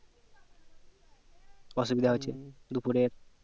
অসুবিধা হচ্ছে দুপুরে